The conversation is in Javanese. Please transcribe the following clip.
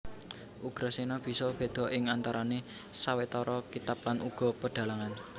Ugrasena bisa béda ing antarané sawetara kitab lan uga pedhalangan